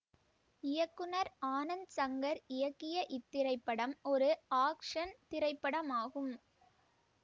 இயக்குநர் ஆனந்த் சங்கர் இயக்கிய இத்திரைப்படம் ஒரு ஆக்சன் திரைப்படமாகும்